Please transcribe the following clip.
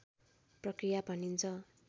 प्रक्रिया भनिन्छ